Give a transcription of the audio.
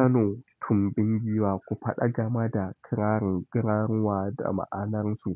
Kano tumbin giwa, kufaɗa game da kirarin, garuruwa da ma'anarsu.